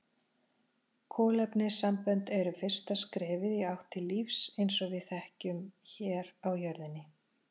Kolefnissambönd eru fyrsta skrefið í átt til lífs eins og við þekkjum hér á jörðinni.